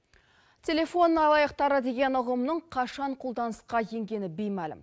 телефон алаяқтары деген ұғымның қашан қолданысқа енгені беймәлім